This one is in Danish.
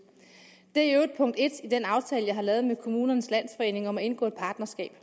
det er i øvrigt punkt en i den aftale jeg har lavet med kommunernes landsforening om at indgå et partnerskab